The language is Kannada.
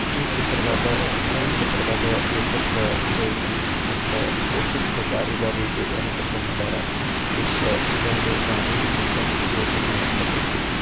ಈ ಚಿತ್ರದಾಗ ಈ ಚಿತ್ರದಾಗ ಊಟಕ್ಕು ಇದು ಅಯ್ತಿ ಮತ್ತು ಊಟಕ್ಕು ಬಾರಿ ಬಾರಿ ಬಿರಿಯಾನಿ ಕತಲಿ ಮಾಡವರ ಡಿಷ್ ಇದು ಒಂದು ಬಾರಿ ಸ್ಪೆಷಲ್ ಊಟಕು ಕಾಣಸಲಕ್ಕ ಹತ್ತೈತಿ.